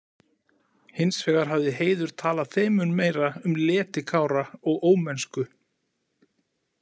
Hins vegar hafði Heiður talað þeim mun meira um leti Kára og ómennsku.